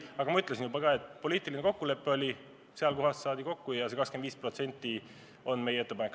Aga ma ütlesin juba ka, et poliitiline kokkulepe oli selline, just seal kohas saadi kokku ja see 25% on meie ettepanek.